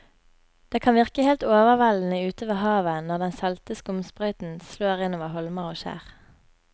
Det kan virke helt overveldende ute ved havet når den salte skumsprøyten slår innover holmer og skjær.